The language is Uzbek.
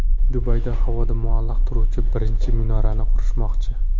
Dubayda havoda muallaq turuvchi birinchi minorani qurishmoqchi .